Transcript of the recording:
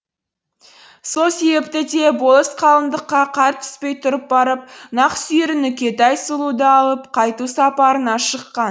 сол себепті де болыс қалындыққа қар түспей тұрып барып нақсүйері нүкетай сұлуды алып қайту сапарына шыққан